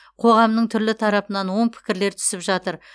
қоғамның түрлі тарапынан оң пікірлер түсіп жатыр